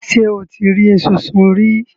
Ṣé o ti rí esunsun rí?